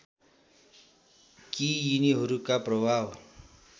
कि यिनीहरूका प्रभाव